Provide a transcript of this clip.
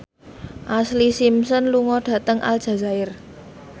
Ashlee Simpson lunga dhateng Aljazair